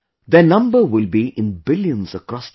Their number will be in Billions across the country